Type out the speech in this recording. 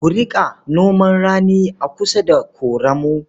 Ku riƙa noman rani a kusa da ƙoramu.